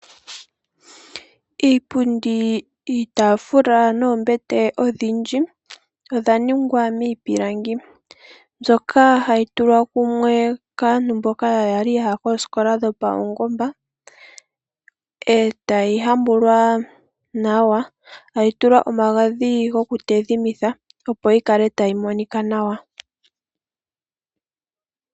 Iipundi, iitaafula noombete odhindji ohadhi ningwa miipilangi mbyoka hayi tulwa kumwe kaantu mboka ya li ya ya koositola dhopaungomba, e tadhi hambulwa nawa, e tayi tulwa omagadhi goku yi tayimitha, opo yi kale tayi monika nawa.